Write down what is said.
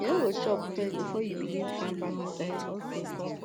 you no go chop first before you begin find balanced diet